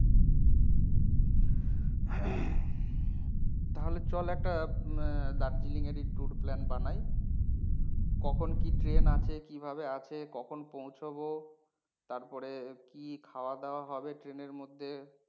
তাহলে ছল একটা আহ দার্জিলিং এর ই tour plan বানাই। কখন কি ট্রেন আছে, কিভাবে আছে, কখন পৌঁছবো তারপরে কি খাওয়া দাওয়া হবে ট্রেন এর মধ্যে